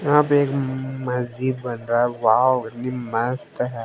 यहां पे एक म मस्जिद बन रहा है वाव कितनी मस्त है।